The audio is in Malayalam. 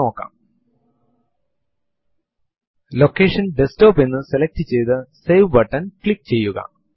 എന്താണ് നിങ്ങളുടെ യൂസർനേം എന്നറിയുവാൻ who space am space I എന്ന് prompt ൽ ടൈപ്പ് ചെയ്തു എന്റർ അമർത്തുക